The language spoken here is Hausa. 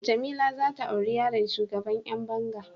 Jamila zata aure yaron shugaban Yan banga.